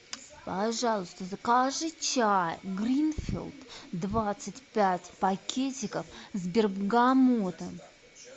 пожалуйста закажи чай гринфилд двадцать пять пакетиков с бергамотом